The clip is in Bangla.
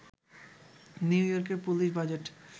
নিউ ইয়র্কের পুলিশ বাজেট